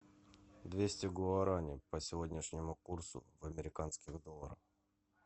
двести гуарани по сегодняшнему курсу в американских долларах